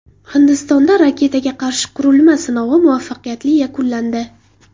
Hindistonda raketaga qarshi qurilma sinovi muvaffaqiyatli yakunlandi.